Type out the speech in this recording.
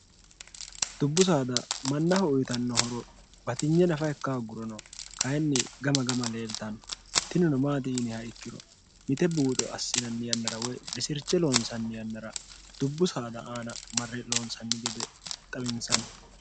dubbu saada mannaho uyitannohoro watinye nafa ikka ogguro no kayinni gama gama leeltanno tinino maati yiniha ikkiro mite buuxo assinanni yannara woy risirche loonsanni yannara dubbu saada aana marre loonsanni gede xawinsanni